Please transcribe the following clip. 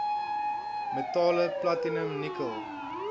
metale platinum nikkel